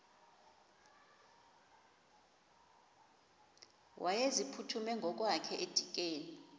wayeziphuthume ngokwakhe edikeni